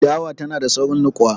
Dawa tanada saurin niƙuwa.